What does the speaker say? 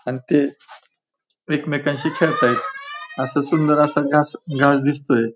अन ते एकमेकांशी खेळतायत असा सुंदर असा घास घास दिसतोय.